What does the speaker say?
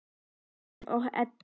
Guðjón og Edda.